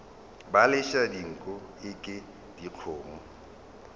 ba letša dinko eke dikgomo